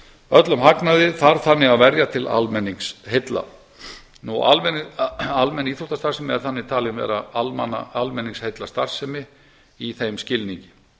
öllum hagnaði þarf þannig að verja til almenningsheilla almenn íþróttastarfsemi er þannig talin vera almenningsheillastarfsemi í þeim skilningi